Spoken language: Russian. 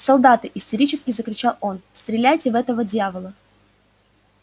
солдаты истерически закричал он стреляйте в этого дьявола